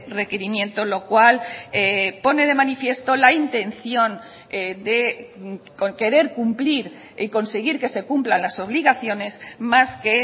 requerimiento lo cual pone de manifiesto la intención de querer cumplir y conseguir que se cumplan las obligaciones más que